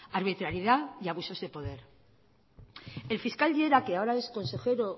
arbitrariedad y abusos de poder el fiscal llera que ahora es consejero